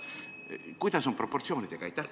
Kuidas on proportsioonidega?